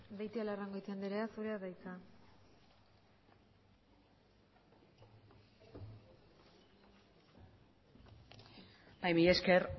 beitialarrangoitia andrea zurea da hitza bai mila esker